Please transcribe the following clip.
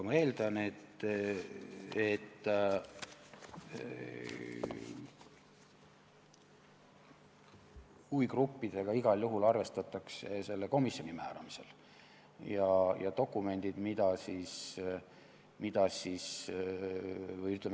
Ma eeldan, et huvigruppidega igal juhul selle komisjoni määramisel arvestatakse.